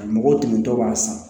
Mɔgɔw tuntɔ b'a san